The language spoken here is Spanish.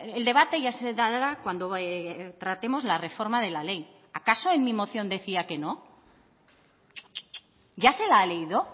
el debate ya se dará cuando tratemos la reforma de la ley acaso en mi moción decía que no ya se la ha leído